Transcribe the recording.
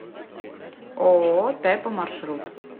ооо тэпо маршрут